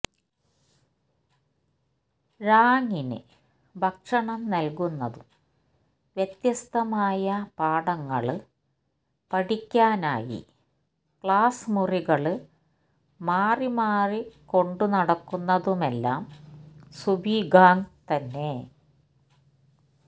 ഴാങ്ങിന് ഭക്ഷണം നല്കുന്നതും വ്യത്യസ്തമായ പാഠങ്ങള് പഠിക്കാനായി ക്ലാസ് മുറികള് മാറി മാറി കൊണ്ടുനടക്കുന്നതുമെല്ലാം സു ബിഗ്യാങ് തന്നെ